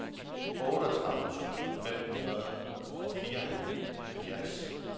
otteogtredive tusind fem hundrede og fireoghalvfjerds